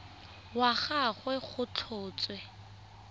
wa ga gagwe go tlhotswe